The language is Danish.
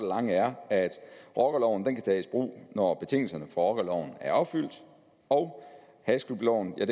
lange er at rockerloven kan tages i brug når betingelserne for rockerloven er opfyldt og hashklubloven kan